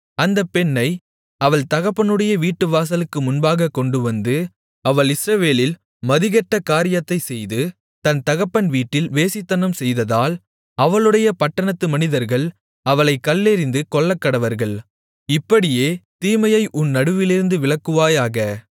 அந்தப் பெண்ணை அவள் தகப்பனுடைய வீட்டுவாசலுக்கு முன்பாகக் கொண்டுவந்து அவள் இஸ்ரவேலில் மதிகெட்ட காரியத்தைச் செய்து தன் தகப்பன் வீட்டில் வேசித்தனம்செய்ததால் அவளுடைய பட்டணத்து மனிதர்கள் அவளைக் கல்லெறிந்து கொல்லக்கடவர்கள் இப்படியே தீமையை உன் நடுவிலிருந்து விலக்குவாயாக